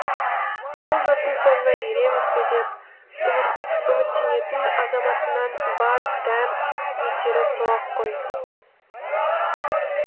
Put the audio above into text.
бұл жұрттың соңына ереміз бе деп үміттенетін азаматынан бар дәм етері сол ақ қой